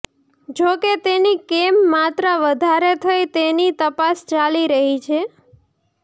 જોકે તેની કેમ માત્રા વધારે થઈ તેની તપાસ ચાલી રહી છે